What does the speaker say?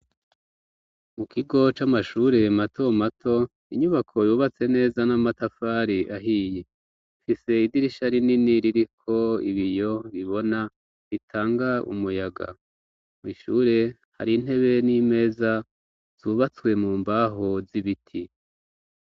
Mu kigo c'amashure mato mato inyubako yubatse neza n'amatafari ahiye mfise idirisha rinini riri ko ibi yo bibona ritanga umuyaga mw'ishure hari ntebe n'imeza zubatswe mu mbaho z'ibiti.